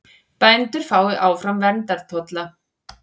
Bændur fái áfram verndartolla